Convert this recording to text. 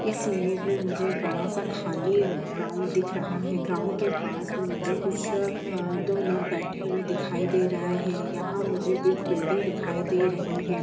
इस इमेज में मुझे बड़ा सा खाली ग्राउंड दिख रहा है ग्राउंड के पास में मुझे कुछ अ दो लोग बैठे हुए दिखाई दे रहे हैं यहाँ मुझे एक बिल्डिंग दिखाई दे रही है।